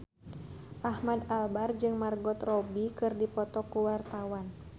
Ahmad Albar jeung Margot Robbie keur dipoto ku wartawan